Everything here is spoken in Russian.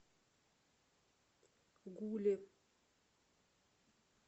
гуле